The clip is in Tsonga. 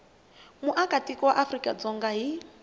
muakatiko wa afrika dzonga hi